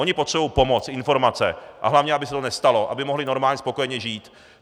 Oni potřebují pomoc, informace, a hlavně aby se to nestalo, aby mohli normálně spokojeně žít.